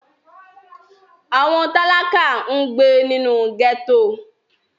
Àwọn tálákà ń gbé nínú gẹ́tò